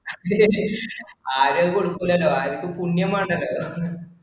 ആരും അത് കൊടുക്കൂല്ലല്ലോ ആർക്കും പുണ്യം വേണ്ടല്ലോ